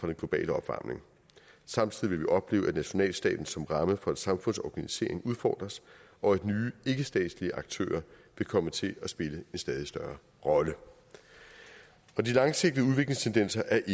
den globale opvarmning samtidig vil vi opleve at nationalstaten som ramme for et samfunds organisering udfordres og at nye ikkestatslige aktører vil komme til at spille en stadig større rolle de langsigtede udviklingstendenser er